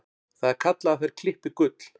Það er kallað að þær klippi gull.